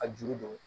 A juru don